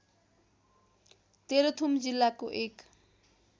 तेह्रथुम जिल्लाको एक